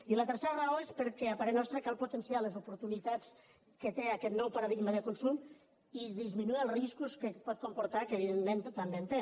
i la tercera raó és perquè a parer nostre cal potenciar les oportunitats que té aquest nou paradigma de consum i disminuir els riscos que pot comportar que evidentment també en té